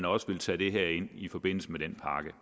også ville tage det her ind i forbindelse med den pakke